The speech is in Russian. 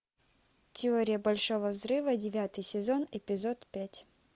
теория большого взрыва девятый сезон эпизод пять